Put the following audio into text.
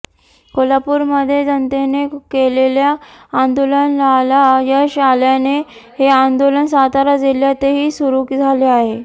कोल्हापूरमध्ये जनतेने केलेल्या आंदोलनाला यश आल्याने हे आंदोलन सातारा जिल्ह्यातही सुरू झाले आहे